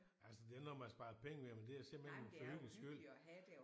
Altså det er ikke noget man sparrer penge ved men det er simpelthen for hyggens skyld